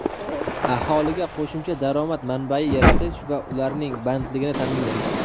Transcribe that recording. aholiga qo‘shimcha daromad manbai yaratish va ularning bandligini taʼminlash.